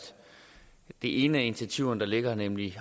det ene af initiativerne der ligger her nemlig